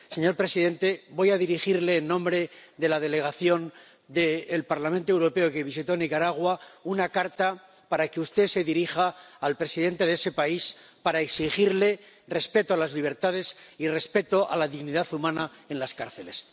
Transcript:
Señor presidente, voy a dirigirle, en nombre de la delegación del Parlamento Europeo que visitó Nicaragua, una carta para que usted se dirija al presidente de ese país para exigirle respeto a las libertades y respeto a la dignidad humana en las cárceles.